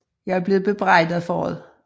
Jeg er blevet bebrejdet for det